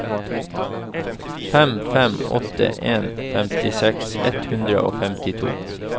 fem fem åtte en femtiseks ett hundre og femtito